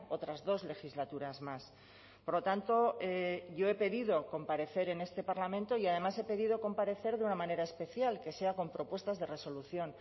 otras dos legislaturas más por lo tanto yo he pedido comparecer en este parlamento y además he pedido comparecer de una manera especial que sea con propuestas de resolución